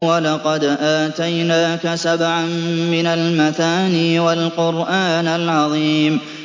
وَلَقَدْ آتَيْنَاكَ سَبْعًا مِّنَ الْمَثَانِي وَالْقُرْآنَ الْعَظِيمَ